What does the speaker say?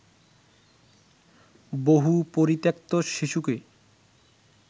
বহু পরিত্যক্ত শিশুকে